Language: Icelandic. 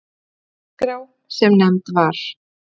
Þessi skipulagsskrá, sem nefnd var